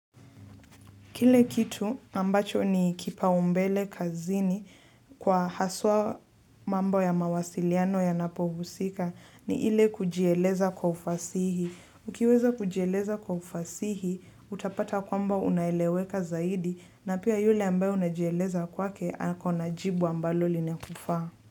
Kile kitu ambacho ni kipaumbele kazini kwa haswa mambo ya mawasiliano ya napohusika ni ile kujeleza kwa ufasihi. Ukiweza kujeleza kwa ufasihi utapata kwamba unaeleweka zaidi na pia yule ambayo unajeleza kwake anakuwa jibu ambalo linakufaa.